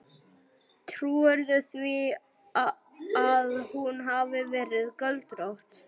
Trúirðu því að hún hafi verið göldrótt.